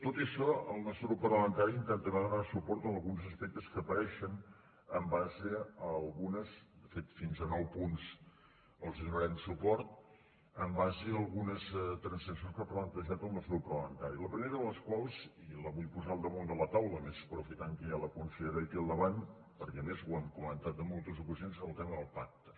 tot i això el nostre grup parlamentari intentarà donar suport a alguns aspectes que apareixen de fet fins a nou punts els donarem suport en base a algunes transaccions que ha plantejat el nostre grup parlamentari la primera de les quals i la vull posar al damunt de la taula a més aprofitant que hi ha la consellera aquí al davant perquè a més ho hem comentat en moltes ocasions és el tema del pacte